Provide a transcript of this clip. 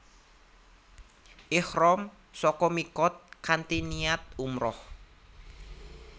Ihram saka miqat kanthi niat umrah